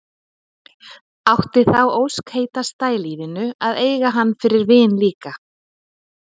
Átti þá ósk heitasta í lífinu að eiga hann fyrir vin líka.